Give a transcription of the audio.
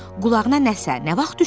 Qulağına nəsə nə vaxt düşdü?